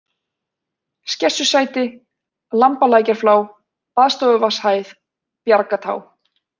Skessusæti, Lambalækjarflá, Baðstofuvatnshæð, Bjargatá